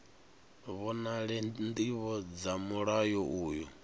vhonale ndivho dza mulayo uyu